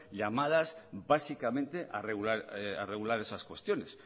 llamadas básicamente a regular esas cuestiones